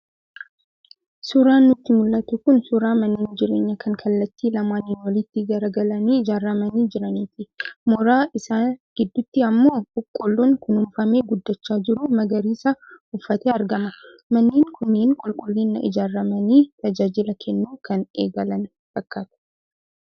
Suuraan nutti mul'atu kun suuraa manneen jireenyaa kan kallattii lamaaniin walitti garagalanii ijaaramanii jiraniiti. Mooraa isaa gidduutti ammoo Boqqolloon kunuunfamee guddachaa jiru magariisa uffatee argama. Manneen kunneen qulqullinaan ijaaramanii tajaajila kennuu kan eegalan fakkaatu.